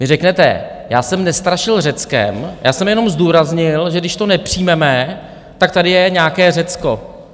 Vy řeknete, já jsem nestrašil Řeckem, já jsem jenom zdůraznil, že když to nepřijmeme, tak tady je nějaké Řecko.